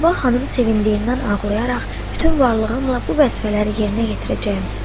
Sabah xanım sevindiyindən ağlayaraq, bütün varlığımla bu vəzifələri yerinə yetirəcəyəm, dedi.